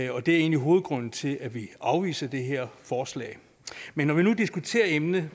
og det er egentlig hovedgrunden til at vi afviser det her forslag men når vi nu diskuterer emnet vil